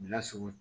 Bilasira